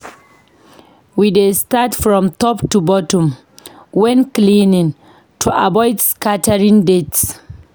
We dey start from top to bottom when cleaning to avoid scattering dirt.